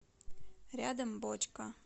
рядом бочка